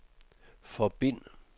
forbind